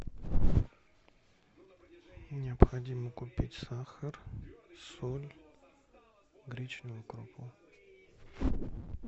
необходимо купить сахар соль гречневую крупу